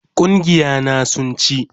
Gungiya na sun ci